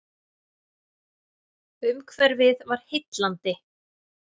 Umhverfið var heillandi.